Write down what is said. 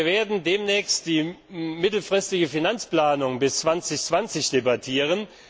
Und wir werden demnächst die mittelfristige Finanzplanung bis 2020 debattieren.